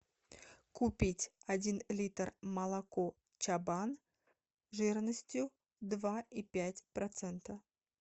купить один литр молоко чабан жирностью два и пять процента